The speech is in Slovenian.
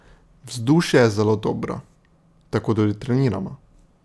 Vzdušje je zelo dobro, tako tudi treniramo.